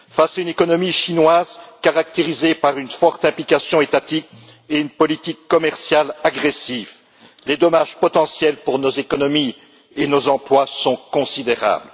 Face à une économie chinoise caractérisée par une forte implication étatique et une politique commerciale agressive, les dommages potentiels pour nos économies et nos emplois sont considérables.